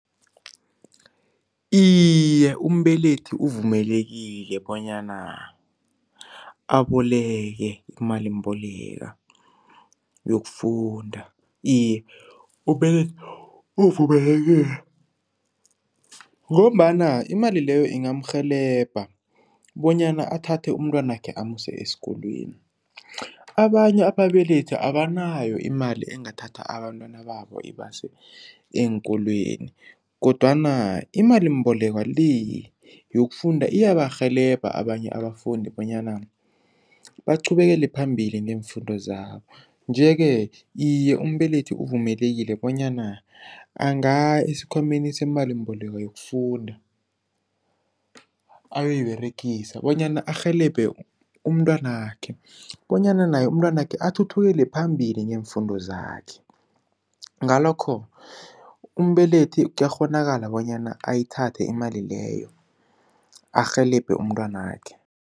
Iye umbelethi uvumelekile bonyana aboleke imalimboleka yokufunda. Iye umbelethi uvumelekile ngombana imali leyo ingamurhelebha bonyana athathe umntwanakhe amuse esikolweni. Abanye ababelethi abanayo imali engathatha abantwana babo ibase eenkolweni kodwana imalimbolekwa le yokufunda iyabarhelebha abanye abafundi bonyana baqhubekele phambili ngeemfundo zabo. Nje-ke iye umbelethi uvumelekile bonyana angaya esikhwameni semalimboleko yokufunda ayoyiberegisa bonyana arhelebhe umntwanakhe bonyana naye umntwanakhe athuthukele phambili ngeemfundo zakhe. Ngalokho umbelethi kuyakghonakala bonyana ayithathe imali leyo arhelebhe umntwanakhe.